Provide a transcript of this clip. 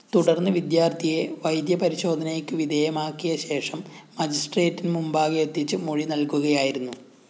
തുടര്‍ന്ന് വിദ്യാര്‍ത്ഥിയെ വൈദ്യപരിശോധനക്ക് വിധേയമാക്കിയശേഷം മജിസ്‌ട്രേറ്റിന് മുമ്പാകെയെത്തിച്ച് മൊഴിനല്‍കുകയായിരുന്നു